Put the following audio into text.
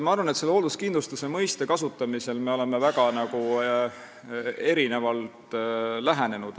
Ma arvan, et me oleme hoolduskindlustuse mõistele väga erinevalt lähenenud.